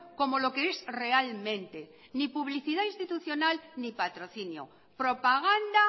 como lo que es realmente ni publicidad institucional ni patrocinio propaganda